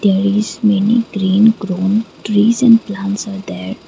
there is many green grown trees and plants are there.